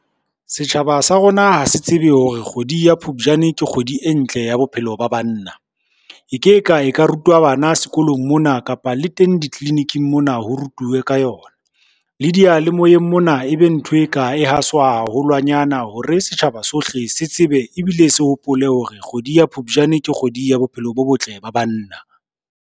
Setjhaba sa rona ha se tsebe hore kgwedi ya Phupjane ke kgwedi e ntle ya bophelo ba banna. E ke ka e ka rutwa bana sekolong mona kapa le teng tleliniking mona ho rutuwe ka yona ona. Le diyalemoyeng mona e be ntho e ka e haswa haholwanyana hore setjhaba sohle se tsebe ebile se hopole hore kgwedi ya Phupjane ke kgwedi ya bophelo bo botle ba banna.